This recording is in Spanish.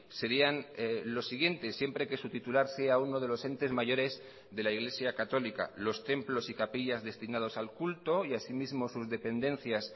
serían los siguientes siempre que su titular sea uno de los entes mayores de la iglesia católica los templos y capillas destinados al culto y asimismo sus dependencias